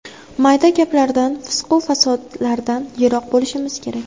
Mayda gaplardan, fisqu-fasodlardan yiroq bo‘lishimiz kerak.